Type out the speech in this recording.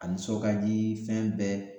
A nisɔn ka di fɛn bɛɛ